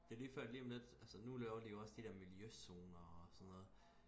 det er lige før at lige om lidt altså nu laver de jo også de der miljøzoner og sådan noget